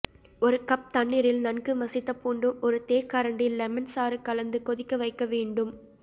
ஒரு கப் தண்ணீரில் நன்கு மசித்த பூண்டும் ஒரு தேக்கரண்டி லெமன் சாறும் கலந்து கொதிக்க வைக்க வேண்டும்